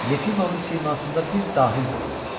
Yefimovun simasında bir dahi görürdü.